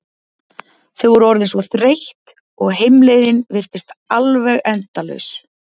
Þau voru orðin svo þreytt og heimleiðin virtist alveg endalaus.